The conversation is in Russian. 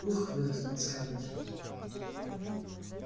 ух выдохнула скарлетт